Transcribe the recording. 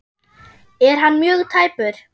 Er hann mjög tæpur?